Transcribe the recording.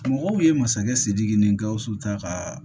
Mɔgɔw ye masakɛ sidiki ni gawusu ta ka